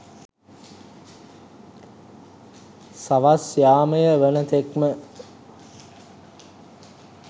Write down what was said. සවස් යාමය වන තෙක්ම